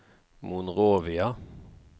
Monrovia